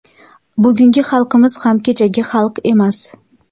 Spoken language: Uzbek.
Bugungi xalqimiz ham kechagi xalq emas.